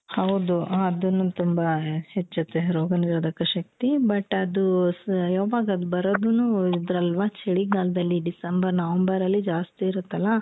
ಹೌದು ಅದುನೂ ತುಂಬಾ ಹೆಚ್ಚುತ್ತೇ ರೋಗನಿರೋಧಕ ಶಕ್ತಿ but ಅದು ಯವಾಗದು ಬರೋದುನೂ ಇದಲ್ವಾ ಚಳಿ ಗಾಲದಲ್ಲಿ December November ಅಲ್ಲಿ ಜಾಸ್ತಿ ಇರುತ್ತಲ